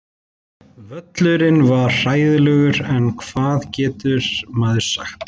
Völlurinn var hræðilegur en hvað getur maður sagt?